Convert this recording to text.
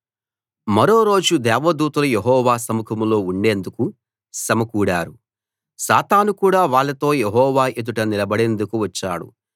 మరో రోజు దేవదూతలు యెహోవా సముఖంలో ఉండేందుకు సమకూడారు సాతాను కూడా వాళ్ళతో యెహోవా ఎదుట నిలబడేందుకు వచ్చాడు